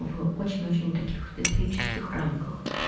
вы очень-очень таких специфических рамках